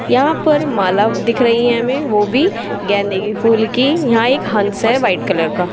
यहां पर माला दिख रही है हमे वो भी गेंदे के फूल की यहां एक हंस है वाइट कलर का।